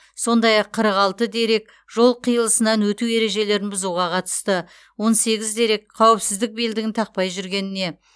сондай ақ қырық алты дерек жол қиылысынан өту ережелерін бұзуға қатысты он сегіз дерек қауіпсіздік белдігін тақпай жүргеніне